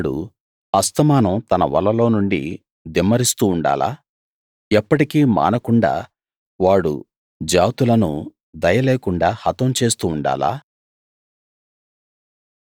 వాడు అస్తమానం తన వలలో నుండి దిమ్మరిస్తూ ఉండాలా ఎప్పటికీ మానకుండా వాడు జాతులను దయలేకుండా హతం చేస్తూ ఉండాలా